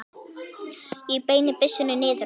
Ég beini byssunni niður á við.